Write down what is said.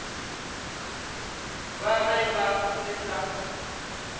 ba ge ba se sa